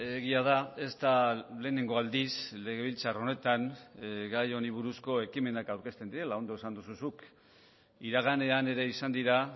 egia da ez da lehenengo aldiz legebiltzar honetan gai honi buruzko ekimenak aurkezten direla ondo esan duzu zuk iraganean ere izan dira